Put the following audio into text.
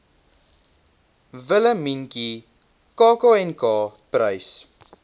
willemientjie kknk prys